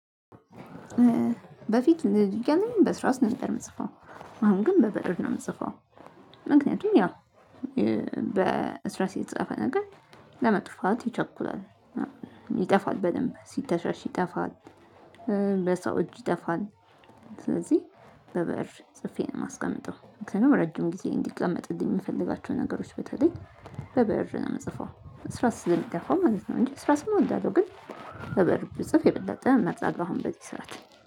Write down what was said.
በፊት ልጅ እያለሁኝ በእርሳስ ነበር የምጽፈው። አሁን ግን በብእር ነው የምጽፈው። ምክንያቱም ያው በእርሳስ የተጻፈ ነገር ለመጥፋት ይቸኩላል፤ ይጠፋል በደንብ፤ ሲተሻሽ ይጠፋል፤ በሰው እጅ ይጠፋልደ ስለዚህ በብእር ጽፌ ነው የማስቀምጠው። ምክንያቱም ረጅም ጊዜ እንዲቀመጥልኝ የምፈልጋቸውን ነገሮች በተለይ በብእር ነው የምጽፈው። እርሳስ ስለሚጠፋ ማለት ነው እንጂ እስራስም እወዳለሁ። ግን በብእር ብጽፍ የበለጠ እመርጣለሁ አሁን በዚህ ስዓት።